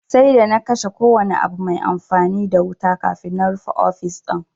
Sai d ana kashe kowane abu mai amfani da wuta kafin na rufe ofis din